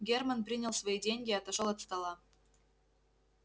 германн принял свои деньги и отошёл от стола